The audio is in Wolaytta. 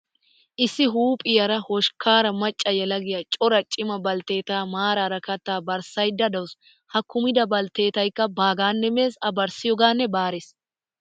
Issi huuphiyaara hoshkkaara macca yelagiyaa cora cima baltteetaa maaraara kattaa barssayidda dawusu. Ha kumida baltteetayikka baagaanne mes. A barssiyoogaanne baares.